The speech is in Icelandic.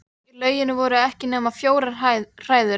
Í lauginni voru ekki nema fjórar hræður.